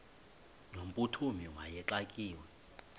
no mphuthumi wayexakiwe